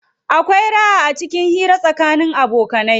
Akwai raha acikin hira tsakanin abokanai.